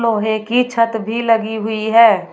लोहे की छत भी लगी हुई है।